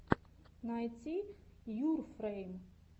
найти йуфрэйм